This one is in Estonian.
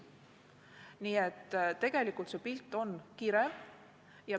Nii et tegelikult on see pilt kirev.